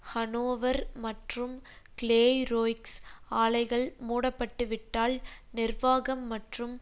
Hanover மற்றும் Clairoix ஆலைகள் முடப்பட்டுவிட்டால் நிர்வாகம் மற்றும்